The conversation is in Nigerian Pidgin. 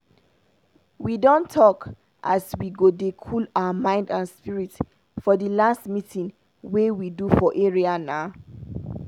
we don talk as we go dey cool our mind and spirit for d last meeting wey we do for area na.